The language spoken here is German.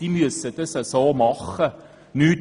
Sie muss so handeln.